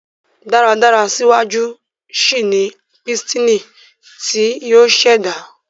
dáradára síwájú síi ní Pístìnì tí yóò ṣẹda